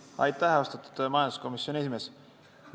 Aitäh, austatud majanduskomisjoni esimees!